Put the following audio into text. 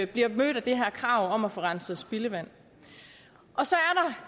bliver mødt af det her krav om at få renset spildevand